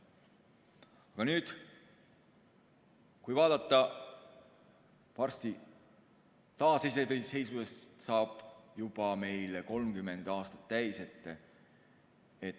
Aga kui nüüd vaadata, siis varsti saab meil taasiseseisvumisest juba 30 aastat.